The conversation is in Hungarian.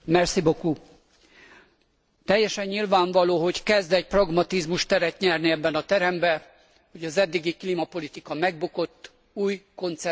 Teljesen nyilvánvaló, hogy kezd egy pragmatizmus teret nyerni ebben a teremben, hogy az eddigi klímapolitika megbukott, új koncepciót kell kialakítani.